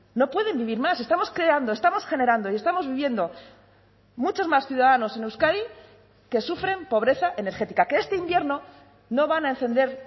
no pueden vivir más estamos creando estamos generando y estamos viviendo muchos más ciudadanos en euskadi que sufren pobreza energética que este invierno no van a encender